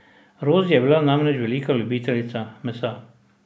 Rozi je bila namreč velika ljubiteljica mesa.